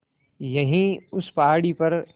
यहीं उस पहाड़ी पर